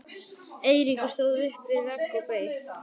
Eiríkur stóð upp við vegg og beið.